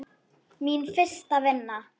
Mín fyrsta vinna.